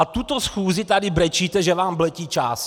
A tuto schůzi tady brečíte, že vám letí čas!